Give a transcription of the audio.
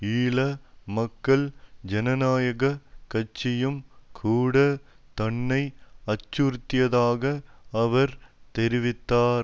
ஈழ மக்கள் ஜனநாயக கட்சியிம் கூட தன்னை அச்சுறுத்தியதாக அவர் தெரிவித்தார்